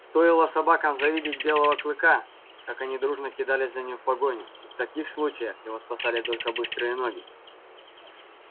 стоило собакам завидеть белого клыка как они дружно кидались за ним в погоню и в таких случаях его спасали только быстрые ноги